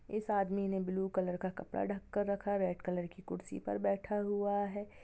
इस आदमी ने ब्लू कलर का कपड़ा ढँक कर रखा रेड कलर की कुर्सी पर बैठा हुआ है।